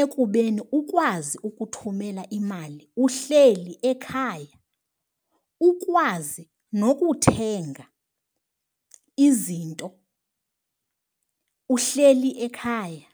ekubeni ukwazi ukuthumela imali uhleli ekhaya, ukwazi nokuthenga izinto uhleli ekhaya.